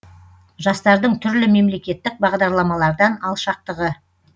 жастардың түрлі мемлекеттік бағдарламалардан алшақтығы